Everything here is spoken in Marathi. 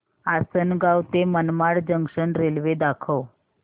आसंनगाव ते मनमाड जंक्शन रेल्वे दाखव